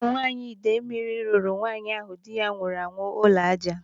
Ụmụ nwaanyị Ịdemili rụrụ nwaanyị ahụ dị ya nwụrụ anwụ ụlọ ájá.